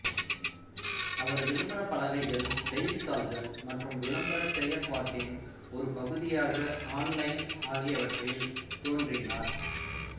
அவர் விளம்பரப்பலகைகள் செய்தித்தாள்கள் மற்றும் விளம்பர செயற்பாட்டின் ஒரு பகுதியாக ஆன்லைன் ஆகியவற்றில் தோன்றினார்